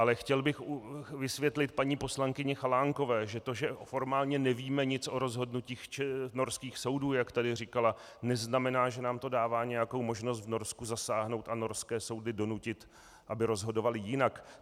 Ale chtěl bych vysvětlit paní poslankyni Chalánkové, že to, že formálně nevíme nic o rozhodnutích norských soudů, jak tady říkala, neznamená, že nám to dává nějakou možnost v Norsku zasáhnout a norské soudy donutit, aby rozhodovaly jinak.